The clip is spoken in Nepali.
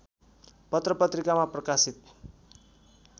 पत्रपत्रिकामा प्रकाशित